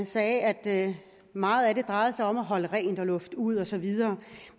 sagde at meget af det drejede sig om at holde rent og lufte ud og så videre